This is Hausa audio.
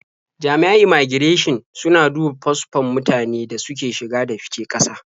Jami'an immaigirashin suna duba fasfon mutanen da suke shige da fice ƙasa.